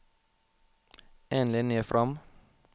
En linje fram